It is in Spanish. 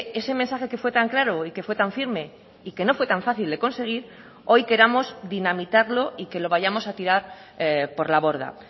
ese mensaje que fue tan claro y que fue tan firme y que no fue tan fácil de conseguir hoy queramos dinamitarlo y que lo vayamos a tirar por la borda